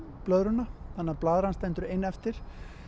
blöðruna þannig að blaðran stendur ein eftir